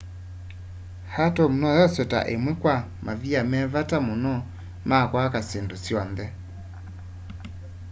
atom noyoswe ta ĩmwe kwa mavia me vata mũno ma kwaka syĩndũ syonthe